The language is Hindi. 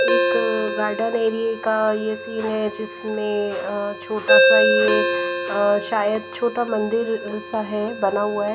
एक अ गार्डन एरिया का यह सीन है जिसमें अ छोटा सा यह अ शायद छोटा मंदिर सा है बना हुआ है।